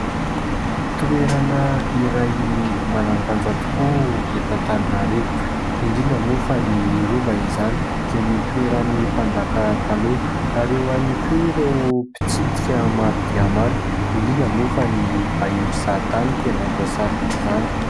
Toerana iray manandanja tokoa eto Antananarivo ; indrindra moa fa ny rova izany izay nitoeran'ny mpanjaka taloha ary eo ihany koa ireo mpitsidika maro dia maro indrindra moa fa ny vahiny mpizahatany no tena voasariky izany.